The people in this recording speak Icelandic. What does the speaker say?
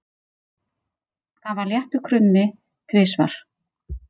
Það var léttur krummi tvisvar.